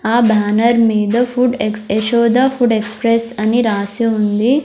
ఆ బ్యానర్ మీద ఫుడ్ ఎక్ యశోద ఫుడ్ ఎక్స్ప్రెస్ అని రాసి ఉంది.